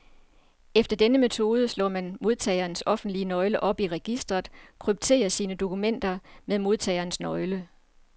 Efter denne metode slår man modtagerens offentlige nøgle op i registret, og krypterer sine dokumenter med modtagerens nøgle.